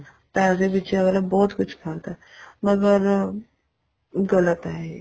ਪੈਸੇ ਪਿੱਛੇ ਅੱਗਲਾ ਬਹੁਤ ਕੁੱਛ ਕਰਦਾ ਏ ਮਰਗ ਗ਼ਲਤ ਏ ਇਹ